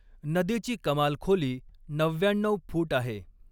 नदीची कमाल खोली नव्व्याण्णऊ फूट आहे.